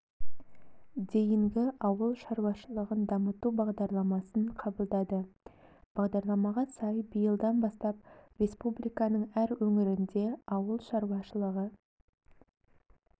дейінгі ауыл шаруашылығын дамыту бағдарламасын қабылдады бағдарламаға сай биылдан бастап республиканың әр өңірінде ауыл шаруашылығы